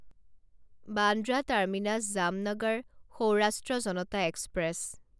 Bandra terminus Jamnagar Saurashtra Janata express